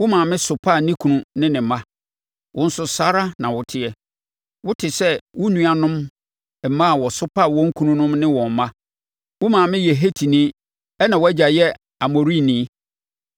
Wo maame sopaa ne kunu ne ne mma. Wo nso saa ara na woteɛ. Wote te sɛ wo nuanom mmaa a wɔsopaa wɔn kununom ne wɔn mma. Wo maame yɛ Hetini ɛnna wʼagya yɛ Amorini.